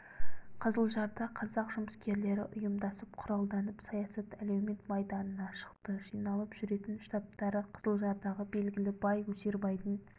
қызылжарда қазақ жұмыскерлері ұйымдасып құралданып саясат әлеумет майданына шықты жиналып жүретін штабтары қызылжардағы белгілі бай өсербайдың